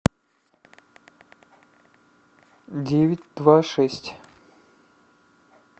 девять два шесть